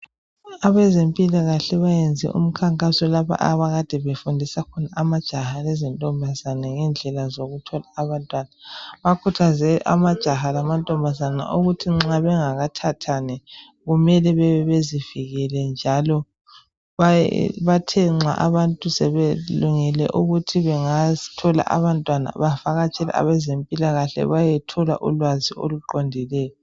Abezempilakahle bayenze umkhankaso lapho abakade befundisa khona amajaha lamantombazane ngendlela zokuthola abantwana. Bakuthaze amajaha lamantombazana ukuthi nxa bengakathathani kumele bebe bezivikele njalo bathe nxa abantu sebelungele ukuthi bengathola abantwana bavakatshele abezempilakahle bayethola ulwazi oluqondileyo.